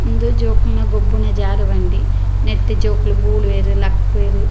ಉಂದು ಜೋಕುಲ್ನ ಗೊಬ್ಬುನ ಜಾರುಬಂಡಿ ನೆಟ್ಟ್ ಜೋಕುಲು ಬೂರುವೆರ್ ಲಕ್ಕುವೆರ್.